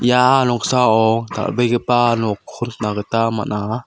ia noksao dal·begipa nokko nikna gita man·a.